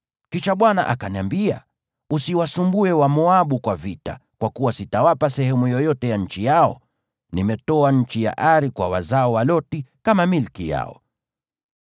Kisha Bwana akaniambia, “Usiwasumbue Wamoabu kwa vita, kwa kuwa sitawapa sehemu yoyote ya nchi yao. Nimetoa nchi ya Ari kwa wazao wa Loti kama milki yao.”